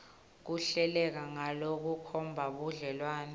kuhleleke ngalokukhomba budlelwane